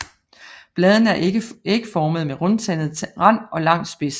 Bladene er ægformede med rundtandet rand og lang spids